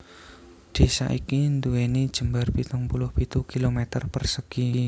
Désa iki nduwèni jembar pitung puluh pitu kilometer persegi